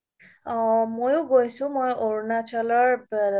অ মইয়ো গৈছো মই অৰুণাচলৰ